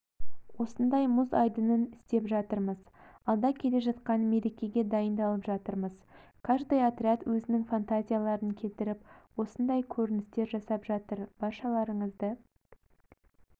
осындай мұз айдынын істеп жатырмыз алда келе жатқан мерекеге дайындалып жатырмыз каждый отряд өзінің фантазияларын келтіріп осындай көріністер жасап жатыр баршаларыңызды